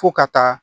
Fo ka taa